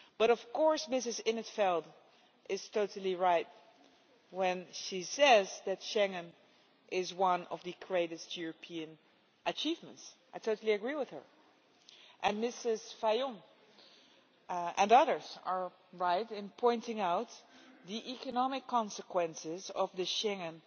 Of course Mrs in t Veld is totally right when she says that Schengen is one of the greatest European achievements I totally agree with her and Mrs Fajon and others are right in pointing out the economic consequences if the Schengen